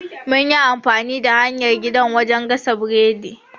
Mun yi amfani da hanyar gida wajen gasa burodi.